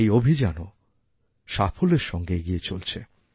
এই অভিযানও সাফল্যের সঙ্গে এগিয়ে চলছে